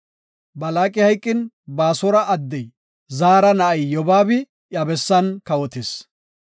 Balaaqi hayqin, Baasora addey Zaara na7ay Yobaabi iya bessan kawotis.